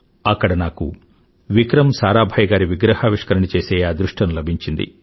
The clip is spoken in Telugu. అక్కడ నాకు విక్రమ్ సారాభాయ్ గారి విగ్రహావిష్కరణ చేసే అదృష్టం లభించింది